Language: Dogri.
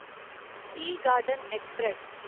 T garden express